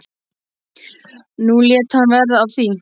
Nú lét hann verða af því.